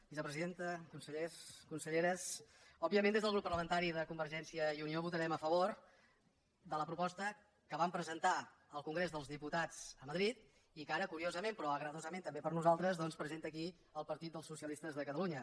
vicepresidenta consellers conselleres òbviament des del grup parlamentari de convergència i unió votarem a favor de la proposta que vam presentar al congrés dels diputats a madrid i que ara curiosament però agradosament també per nosaltres doncs presenta aquí el partit dels socialistes de catalunya